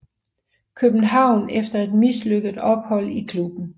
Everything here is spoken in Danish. København efter et mislykket ophold i klubben